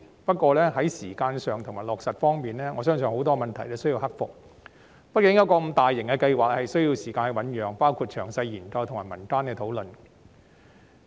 不過，在時間和落實方面，我相信有很多問題需要克服，因為一個如此大型的計劃，畢竟需要時間醞釀，包括詳細研究和民間的討論。